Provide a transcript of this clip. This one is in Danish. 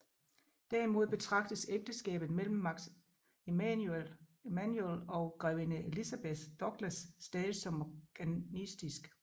Derimod betragtes ægteskabet mellem Max Emanuel og grevinde Elizabeth Douglas stadigt som morganatisk